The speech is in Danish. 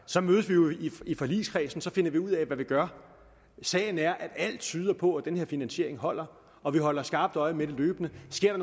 så mødes vi jo i forligskredsen og så finder vi ud af hvad vi gør sagen er at alt tyder på at den her finansiering holder og vi holder skarpt øje med det løbende sker